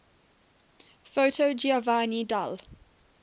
foto giovanni dall